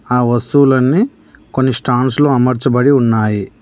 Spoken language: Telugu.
ఆ వస్తువులన్నీ కొన్ని స్టాండ్స్ లో అమర్చబడి ఉన్నాయి.